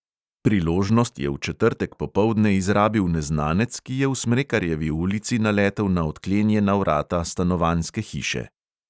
Priložnost je v četrtek popoldne izrabil neznanec, ki je v smrekarjevi ulici naletel na odklenjena vrata stanovanjske hiše.